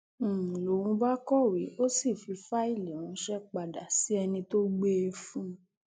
n lóun bá kọwé ó sì fi fáìlì ránṣẹ padà sí ẹni tó gbé e fún un